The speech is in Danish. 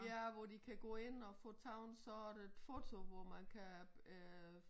Ja hvor de kan gå ind og få taget sådan et foto hvor man kan øh